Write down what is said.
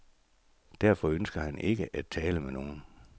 Derfor ønsker han ikke at tale med nogen.